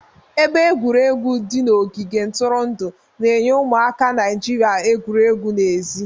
Ebe egwuregwu di n'ogige ntụrụndụ na-enye ụmụaka Naijiria egwuregwu n'èzí.